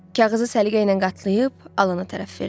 Kağızı səliqə ilə qatlayıb Alana tərəf verdi.